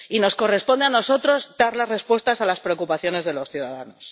Y nos corresponde a nosotros dar las respuestas a las preocupaciones de los ciudadanos.